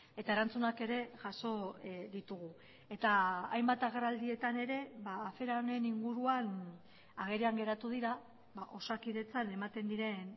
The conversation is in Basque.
eta erantzunak ere jaso ditugu eta hainbat agerraldietan ere afera honen inguruan agerian geratu dira osakidetzan ematen diren